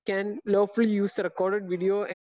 speaker 2 can lawful use a recorded video ആ